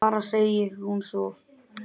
Bara segir hún svo.